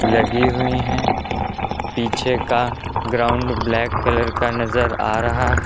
लगी हुई है पीछे का ग्राउंड ब्लैक कलर का नजर आ रहा है।